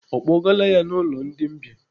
Ọ kpọgaala ya ụlọ ndi mbìa?